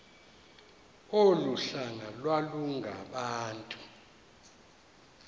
olu hlanga iwalungabantu